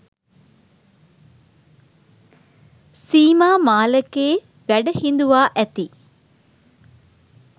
සීමා මාලකයේ වැඩ හිඳුවා ඇති